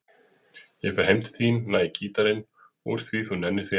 Ég fer heim til þín og næ í gítarinn úr því þú nennir því ekki.